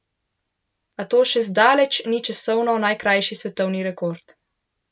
A to še zdaleč ni časovno najkrajši svetovni rekord.